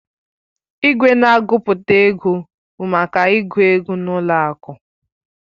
Igwe na-agụpụta ego bụ maka ịgụ ego n'ụlọ akụ.